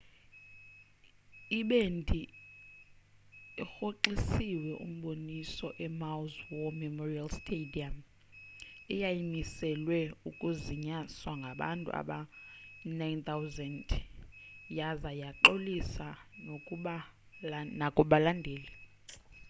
ibhendi irhoxisile umboniso emaui's war memorial stadium eyayimiselwe ukuzinyaswa ngabantu abangama-9,000 yaza yaxolisa nakubalandeli